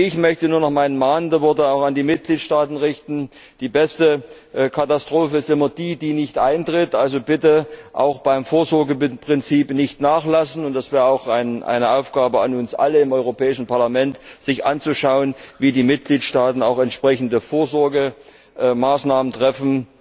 Ich möchte nun auch meine mahnenden Worte an die Mitgliedstaaten richten Die beste Katastrophe ist immer die, die nicht eintritt. Also bitte auch beim Vorsorgeprinzip nicht nachlassen! Das wäre auch eine Aufgabe an uns alle im Europäischen Parlament, sich anzuschauen, wie die Mitgliedstaaten auch entsprechende Vorsorgemaßnahmen treffen.